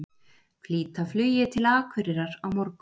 Flýta flugi til Akureyrar á morgun